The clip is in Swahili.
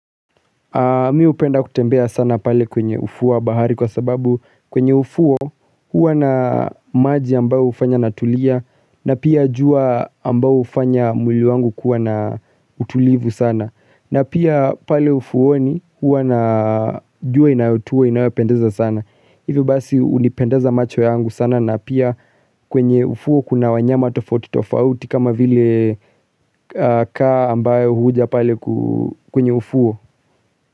Mi hupenda kutembea sana pale kwenye ufuu wa bahari kwa sababu kwenye ufuo huwa na maji ambayo hufanya natulia na pia jua ambayo hufanya mwili wangu kuwa na utulivu sana na pia pale ufuwoni huwa na jua inayotua inayopendeza sana hivi basi hunipendeza macho yangu sana na pia kwenye ufuo kuna wanyama tofauti tofauti kama vile kaa ambayo huja pale kwenye ufuo.